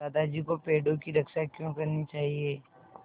दादाजी को पेड़ों की रक्षा क्यों करनी चाहिए